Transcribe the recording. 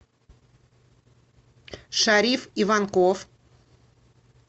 шариф иванков